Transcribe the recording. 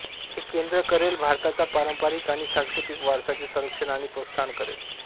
हे केंद्र करेल भारताचा पारंपारिक आणि सांस्कृतिक वारसाचे संरक्षण आणि प्रोत्साहन करेल